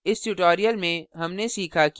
इस tutorial में हमने सीखा कि